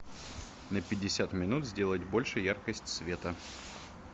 на пятьдесят минут сделать больше яркость света